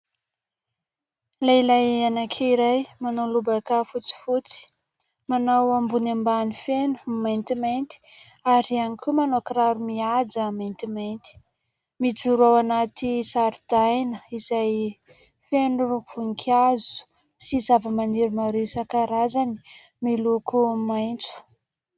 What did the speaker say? Lehilahy anankiray manao lobaka fotsifotsy, manao ambony ambany feno maintimainty ary ihany koa manao kiraro mihaja maintimainty. Mijoro ao anaty zaridaina izay feno vonin-kazo sy zava-maniry maro isan-karazany miloko maitso.